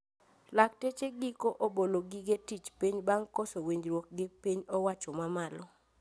Lakteche giko obolo gige tich piny bang` koso winjruok gi piny owacho mamalo